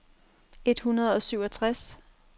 et hundrede og syvogtres